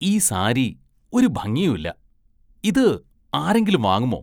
ഈ സാരി ഒരു ഭംഗിയും ഇല്ല. ഇത് ആരെങ്കിലും വാങ്ങുമോ?